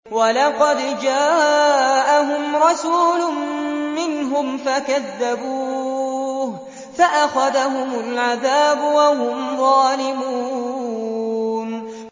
وَلَقَدْ جَاءَهُمْ رَسُولٌ مِّنْهُمْ فَكَذَّبُوهُ فَأَخَذَهُمُ الْعَذَابُ وَهُمْ ظَالِمُونَ